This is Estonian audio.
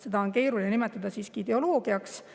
Seda on keeruline nimetada ideoloogiaks.